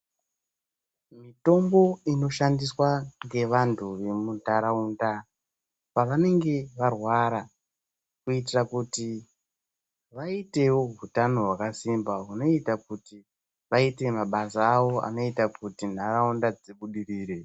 Mitombo inoshandiswa ngevantu vemunharaunda pavanenge varwara kuitira kuti vaitevo utano hwakasimba, hunoita kuti vaite mabasa avo anoita kuti nharaunda dzibudirire.